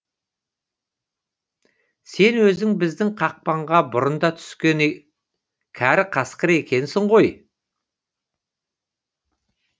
сен өзің біздің қақпанға бұрын да түскен кәрі қасқыр екенсің ғой